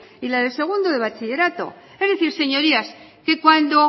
y la de segundo de bachillerato es decir señorías que cuando